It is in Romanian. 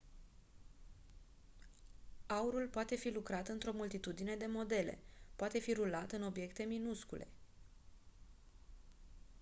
aurul poate fi lucrat într-o multitudine de modele poate fi rulat în obiecte minuscule